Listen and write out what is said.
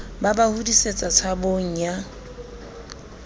ba ba hodisetsa tshabong ya